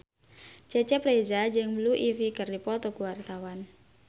Cecep Reza jeung Blue Ivy keur dipoto ku wartawan